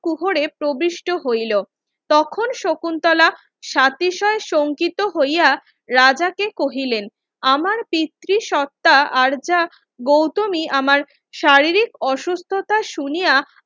গরুহুরে প্রবিষ্ট হইলো তখন শকুন্তলা সাতিশয় সংকিত হইয়া রাজাকে কহিলেন আমার পিতৃ সত্তা আর যা গৌতমী আমার শারীরিক অসুস্থতা শুনিয়া